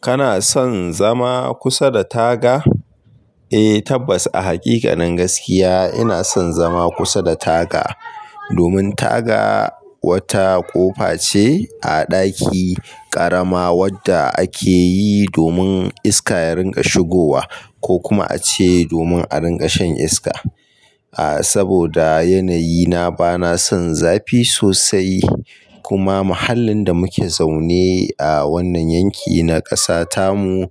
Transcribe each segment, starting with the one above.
Kana son zama kusa da taga? Eh tabbas a hakikanin gaskiya ina son zama kusa da taga. Domin taga wata ƙofa ce a daki karama wadda ake yi domin iska ya ringa shigowa ko kuma ace domin a ringa shan iska. Ah saboda yanayi na bana son zafi sosai kuma mahallin da muke zaune a wannan yanki na kasa tamu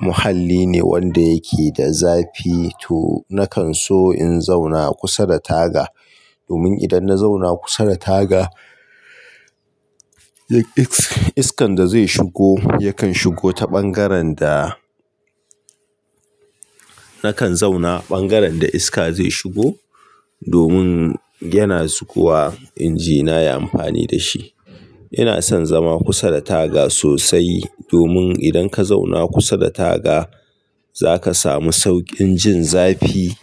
muhalli ne wanda yake da zafi to nakan so in zauna kusa da taga. Domin idan na zauna kusa da taga iskan da zai shigo yakan shigo ta bangaren da nakan zauna bangaren da iska zai shigo domin yana zuwa injina ya amfani da shi. Ina son zama kusa da taga sosai domin idan ka zauna kusa da taga zaka samu sauƙin jin zafi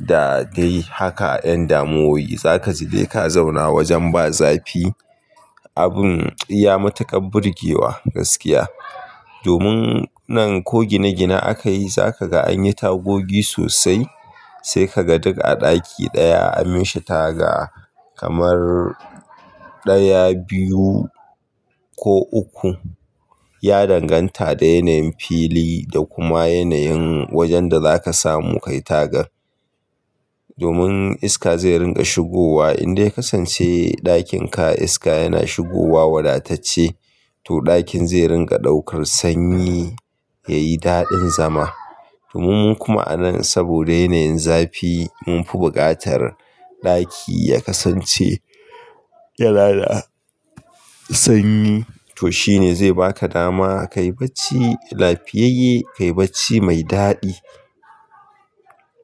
da dai haka ƴan damuwoyi. Zaka ji dai ka zauna wajen ba zafi abin iya matuƙar burgewa gaskiya. Domin nan ko gine gine aka yi za kaga an yi tagogi sosai sai ka ga duk a daki ɗaya an mishi taga kamar daya, biyu ko uku. Ya danganta da yanayin fili da kuma yanayin wajen da zaka samu ka yi tagar. Domin iska zai ringa shigowa in dai kasance ɗakinka iska yana shigowa wadatacce to ɗakin zai ringa ɗaukar sanyi ya yi daɗin zama. Domin mu kuma a nan saboda yanayin zafi mun fi bukatar ɗaki ya kasance yana da sanyi to shine zai baka dama ka yi bacci lafiyayye ka yi bacci mai daɗi.